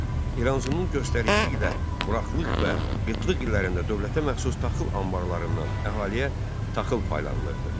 İranzunun göstərişi ilə quraqlıq və qıtlıq illərində dövlətə məxsus taxıl anbarlarından əhaliyə taxıl paylanılırdı.